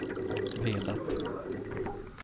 velat